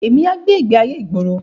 Mà á gbé ìgbé ayé ìgboro.